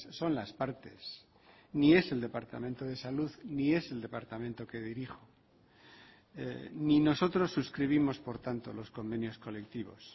son las partes ni es el departamento de salud ni es el departamento que dirijo ni nosotros suscribimos por tanto los convenios colectivos